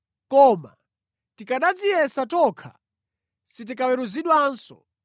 Koma tikanadziyesa tokha sitikaweruzidwanso.